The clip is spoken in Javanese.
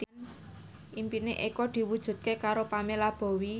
impine Eko diwujudke karo Pamela Bowie